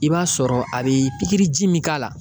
I b'a sɔrɔ a bi pikiri ji min k'a la